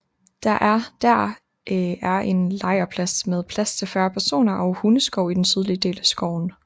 Der er Der er en en lejrplads med plads til 40 personer og hundeskov i den sydlige del af skoven